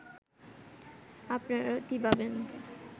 আপনারা কী ভাবেন